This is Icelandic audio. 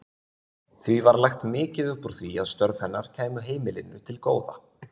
Því var lagt mikið upp úr því að störf hennar kæmu heimilinu til góða.